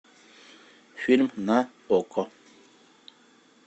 фильм на окко